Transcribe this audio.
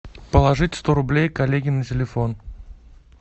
положить сто рублей коллеге на телефон